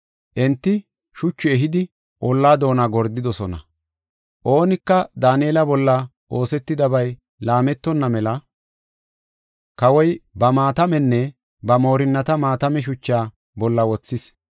Enti shuchu ehidi, olla doona gordidosona. Oonika Daanela bolla oosetidabay laametonna mela, kawoy ba maatamenne ba moorinnata maatame shuchaa bolla wothis.